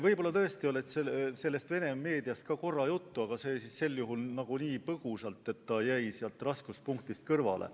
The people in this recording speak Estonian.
Võib-olla tõesti oli ka Vene meediast korra juttu, aga sel juhul nii põgusalt, et see jäi raskuspunktist kõrvale.